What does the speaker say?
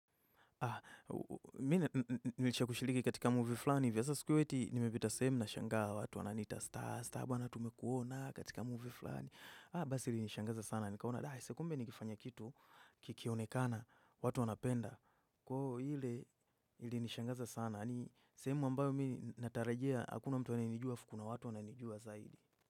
Haa, mina nilisha kushiliki katika movie flani vyasa siku hiyo eti nimebita sehemu na shangaa watu wananiita Stasta bwana tumekuona katika movie fulani. Aa basi ili nishangaza sana nikaona, dahi sekumbe ni lifanya kitu kikionekana, watu wanapenda kwa huo hile ilinishangaza sana. Ni sehemu ambayo mi natarajia hakuna mtu anayenijua, afu kuna watu wananijua zaidi.